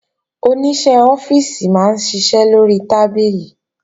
Oníṣẹ́ ọ́fíìsì máa ń ṣiṣẹ́ lórí tábìlì